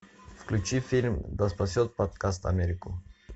включи фильм да спасет подкаст америку